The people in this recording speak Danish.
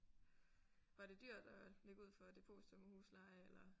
Var det dyrt at lægge ud for depositum og husleje eller?